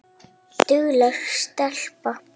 Dugleg stelpa